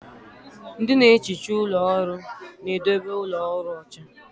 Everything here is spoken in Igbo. Ndị na-ehicha ụlọ ọrụ na-edobe ụlọ ọrụ ọcha.